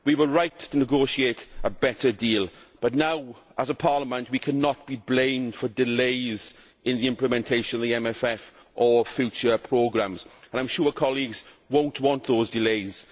We were right to negotiate a better deal but now, as a Parliament, we cannot be blamed for delays in the implementation of the MFF or future programmes, and I am sure colleagues would not want those delays.